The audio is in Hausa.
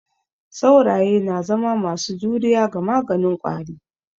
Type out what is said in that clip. Sauraye na zama masu juriya ga maganin ƙwari.